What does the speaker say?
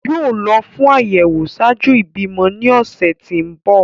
Yoo lọ fun ayẹwo ṣạaju ibimọ ni ọsẹ ti ǹ bọ.